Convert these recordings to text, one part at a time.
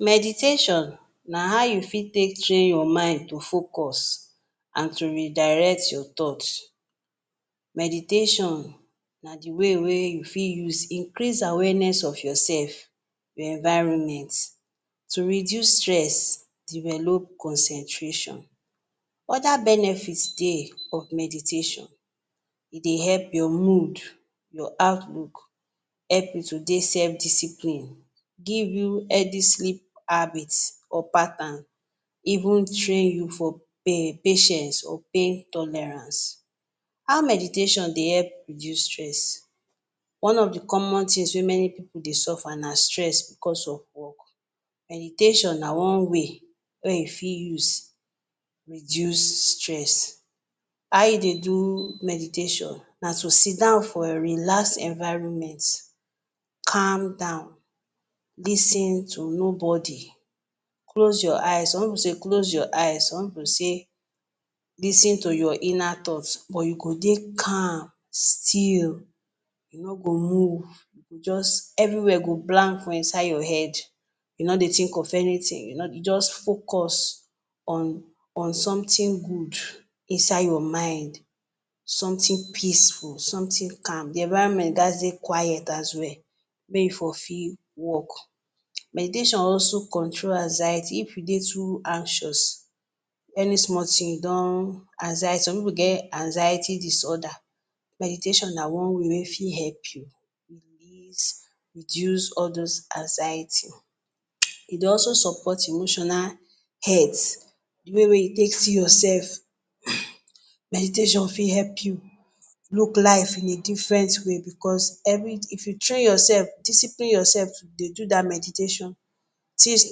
Meditation na how you fit take train your mind to focus and to redirect your thoughts. Meditation na de way wey you fit use increase awareness of yourself, your environment, to reduce stress, develop concentration. Other benefits dey of meditation. E dey help your mood, your outlook, help you to dey self-discipline, give you healthy sleep habit or pattern, even train you for um patience or pain tolerance. How meditation dey help reduce stress? One of de common things wey many pipu dey suffer na stress because of work. Meditation na one way wey you fit use reduce stress. How you dey do meditation? Na to sidan for relaxed environment, calm down, lis ten to nobody, close your eyes -some pipu say close your eyes, some pipu say lis ten to your inner thoughts. But you go dey calm, still, you no go move, you go just everywhere go blank for inside your head, you no dey think of anything. You just focus on on something good inside your mind, something peaceful, something calm. The environment gats dey quiet as well, make e for fit work. Meditation also control anxiety. If you dey too anxious, any small thing you don. Some pipu get anxiety disorder. Meditation na one way wey fit help you reduce reduce all those anxiety um. E dey also support emotional health, de way wey you take see yourself um. Meditation fit help you look life in a different way because every if you train yourself, discipline yourself dey do dat meditation, things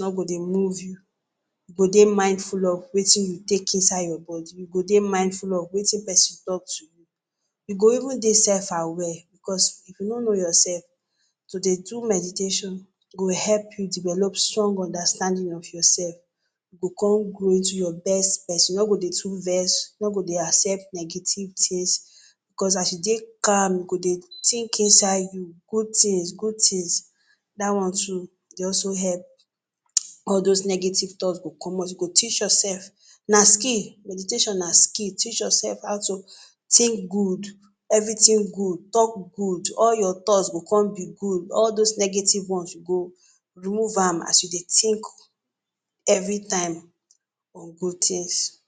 no go dey move you. You go dey mindful of wetin you take inside your body. You go dey mindful of wetin pesin talk to you. You go even dey self-aware because if you no know yourself, to dey do meditation go help you develop strong understanding of yourself. You go come grow into you best. You no go dey too vex, you no go dey accept negative things, cos as you dey calm, you go dey think inside you good things-good things. Dat one too dey also help. All those negative thought go comot. You go teach yourself. Na skill. Meditation na skill. Teach yourself how to think good, everything good, talk good, all your thoughts go come be good, all dose negative ones you go remove am as you dey think every time on good things.